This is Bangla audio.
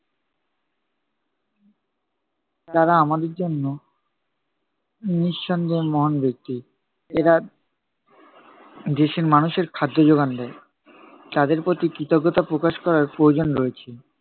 তারা আমাদের জন্য নিঃসন্দেহে মহান ব্যক্তি। এরা দেশের মানুষের খাদ্য যোগান দেয়। তাদের প্রতি কৃতজ্ঞতা প্রকাশ করার প্রয়োজন রয়েছে।